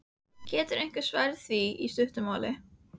Getur einhver svarað því í stuttu máli?